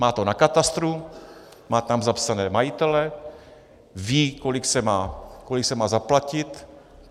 Má to na katastru, má tam zapsané majitele, ví, kolik se má zaplatit.